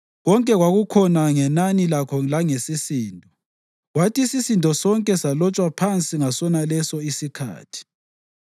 Konke kwakukhona ngenani lakho langesisindo, kwathi isisindo sonke salotshwa phansi ngasonaleso isikhathi.